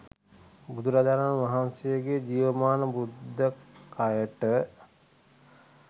බුදුරජාණන් වහන්සේගේ ජීවමාන බුද්ධ කයට